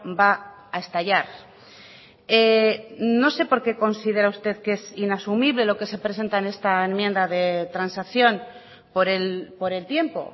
va a estallar no sé por qué considera usted que es inasumible lo que se presenta en esta enmienda de transacción por el tiempo